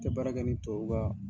tɛ baara kɛ nin tubabu ka